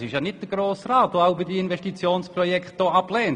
Dem halte ich entgegen, dass dies nicht am Grossen Rat liegt.